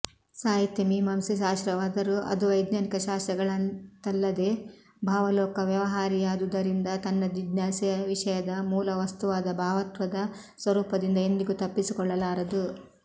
ಸಾಹಿತ್ಯಮೀಮಾಂಸೆ ಶಾಸ್ತ್ರವಾದರೂ ಅದು ವೈಜ್ಞಾನಿಕ ಶಾಸ್ತ್ರಗಳಂತಲ್ಲದೆ ಭಾವಲೋಕ ವ್ಯವಹಾರಿಯಾದುದರಿಂದ ತನ್ನ ಜಿಜ್ಞಾಸೆಯ ವಿಷಯದ ಮೂಲವಸ್ತುವಾದ ಭಾವತ್ವದ ಸ್ವರೂಪದಿಂದ ಎಂದಿಗೂ ತಪ್ಪಿಸಿಕೊಳ್ಳಲಾರದು